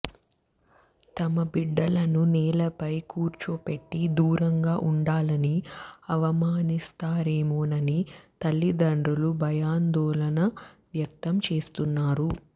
తమ బిడ్డలను నేలపై కూర్చోపెట్టి దూరంగా ఉండాలని అవమానిస్తారేమోనని తల్లిదండ్రులు భయాందోళన వ్యక్తం చేస్తున్నారు